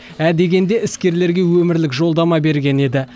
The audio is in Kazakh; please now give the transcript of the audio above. ә дегенде іскерлерге өмірлік жолдама берген еді